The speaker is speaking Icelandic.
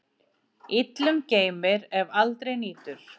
Illum geymir, ef aldrei nýtur.